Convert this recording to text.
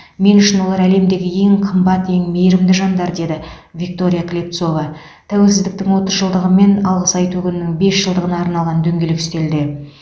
мен үшін олар әлемдегі ең қымбат ең мейірімді жандар деді виктория клепцова тәуелсіздіктің отыз жылдығы мен алғыс айту күнінің бес жылдығына арналған дөңгелек үстелде